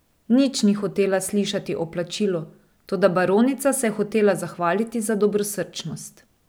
Nič ni hotela slišati o plačilu, toda baronica se je hotela zahvaliti za dobrosrčnost.